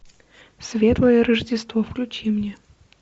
светлое рождество включи мне